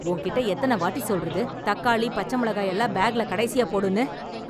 உன் கிட்ட எத்தனை வாட்டி சொல்றது தக்காளி, பச்சை மிளகாயெல்லாம் பேக்குல கடைசியா போடுன்னு!